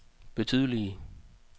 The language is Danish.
betydeligt